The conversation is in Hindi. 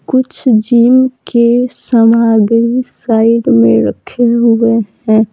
कुछ जिम के सामग्री साइड में रखे हुए हैं।